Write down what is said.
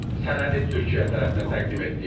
Sənədi Türkiyə tərəfinə təqdim etdik.